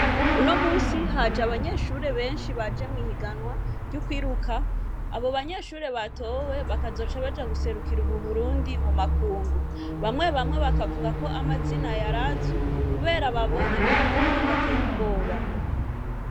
Uno musi haje abanyeshuri benshi bajemwo ihiganwa ry'ukwiruka abo banyeshure batowe bakazoca baja guserukira uburundi mu makungu bamwe bamwe bakavuga ko amazina yarazwi, kubera babonyemwo amanyanga ateye ubwoba.